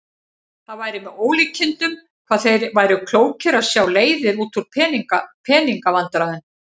Það væri með ólíkindum hvað þeir væru klókir að sjá leiðir út úr pening- vandræðum.